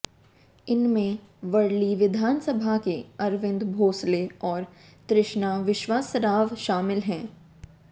इनमें वर्ली विधानसभा के अरविंद भोसले और तृष्णा विश्वासराव शामिल हैं